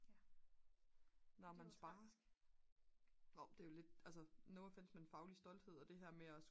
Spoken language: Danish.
når man sparer nå men det er jo lidt altså no offense men faglig stolthed og det her med at